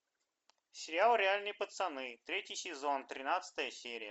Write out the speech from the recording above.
сериал реальные пацаны третий сезон тринадцатая серия